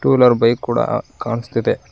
Two wheeler bike ಕೂಡ ಕಾಣಿಸ್ತಿದೆ.